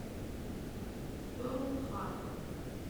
перл харбор